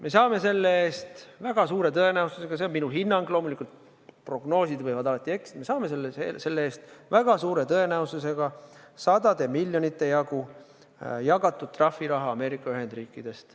Me saame selle eest väga suure tõenäosusega – see on minu hinnang, loomulikult prognoosid võivad alati eksida –, me saame selle eest väga suure tõenäosusega sadade miljonite jagu jagatud trahviraha Ameerika Ühendriikidest.